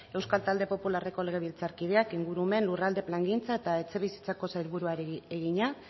euskal talde popularreko legebiltzarkideak ingurumen lurralde plangintza eta etxebizitzako sailburuari egina